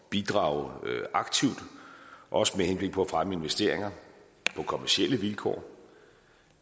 bidrage aktivt også med henblik på at fremme investeringer på kommercielle vilkår og